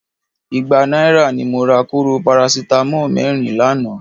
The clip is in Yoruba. Igba náírà ni mo ra kóró parasítámọ̀ mẹ́rin lánàá